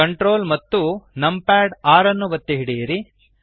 Ctrl ಮತ್ತು 6 ಒತ್ತಿ ಹಿಡಿಯಿರಿ